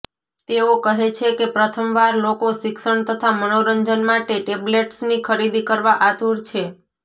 તેઓ કહે છે કે પ્રથમવાર લોકો શિક્ષણ તથા મનોરંજન માટે ટેબ્લેટ્સની ખરીદી કરવા આતુર છે